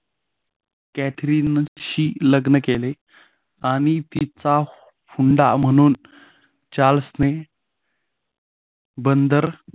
कॅथरीनशी लग्न केले आणि तिचा म्हणून चार्ल्सने बंदर